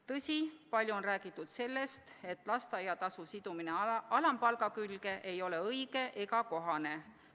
Tõsi, palju on räägitud sellest, et lasteaiatasu sidumine alampalgaga ei ole õige ega kohane.